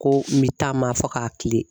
Ko n bɛ taama fɔ k'a kile